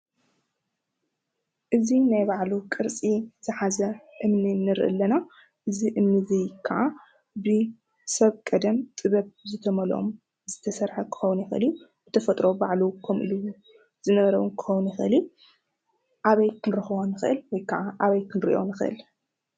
እዚ ናይ ባዕሉ ቅርፂ ዝሓዘ እምኒ ንሪኢ ኣለና። እዚ እምኒ እዙይ ከዓ ብሰብ ቀደም ጥበብ ዝተመለኦም ዝተሰረሐ ክኸውን ይኽእል እዩ:: ብተፈጥሮ ባዕሉ ዝነበረ እውን ክኸርውን ይኽእል እዩ። ኣብይ ክንረኽቦ ንክእል ወይ ኻዓ ኣበይ ክንሪኦ ንኽእል?